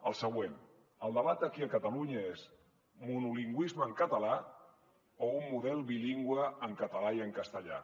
el següent el debat aquí a catalunya és monolingüisme en català o un model bilingüe en català i en castellà